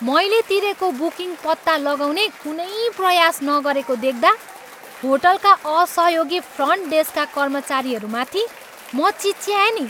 मैले तिरेको बुकिङ पत्ता लगाउने कुनै प्रयास नगरेको देख्दा होटलका असहयोगी फ्रन्ट डेस्कका कर्मचारीहरूमाथि म चिच्याएँ नि।